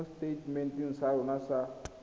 mo seteitementeng sa rona sa